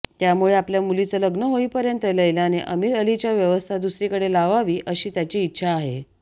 त्यामुळे आपल्या मुलीचं लग्न होईपर्यंत लैलाने आमीरअलीची व्यवस्था दुसरीकडे लावावी अशी त्याची इच्छा आहे